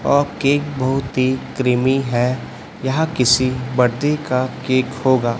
और केक बहुत ही क्रीमी है यह किसी बडे का केक होगा--